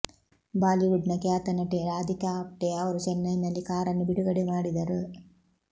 Bollywood ನ ಖ್ಯಾತ ನಟಿ ರಾಧಿಕಾ ಆಪ್ಟೆ ಅವರು ಚೆನ್ನೈನಲ್ಲಿ ಕಾರನ್ನು ಬಿಡುಗಡೆ ಮಾಡಿದರು